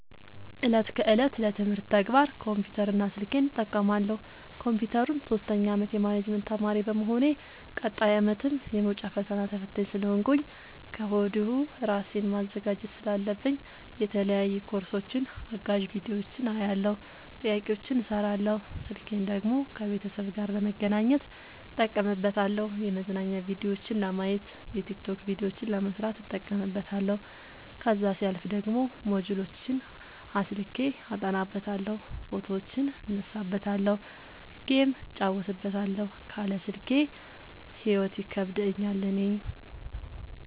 እለት ከእለት ለትምህርት ተግባር ኮምፒውተር እና ስልኬን እጠቀማለሁ። ኮንፒውተሩን ሶስተኛ አመት የማኔጅመት ተማሪ በመሆኔ ቀጣይ አመትም የመውጫ ፈተና ተፈታኝ ስለሆንኩኝ ከወዲሁ እራሴን ማዘጋጀት ስላለብኝ የተለያዩ ኮርሶችን አጋዝ ቢዲዮዎችን አያለሁ። ጥያቄዎችን እሰራለሁ። ስልኬን ደግሞ ከቤተሰብ ጋር ለመገናኘት እጠቀምበታለሁ የመዝናኛ ቭዲዮዎችን ለማየት። የቲክቶክ ቪዲዮዎችን ለመስራት እጠቀምበታለሁ። ከዛሲያልፍ ደግሞ ሞጅልዎችን አስልኬ አጠናበታለሁ። ፎቶዎችን እነሳበታለሀለ። ጌም እጫወትበታለሁ ካለ ስልኬ ሂይወት ይከብደኛል እኔ።